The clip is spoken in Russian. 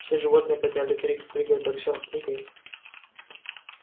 все животные подняли крик прыгай боксёр прыгай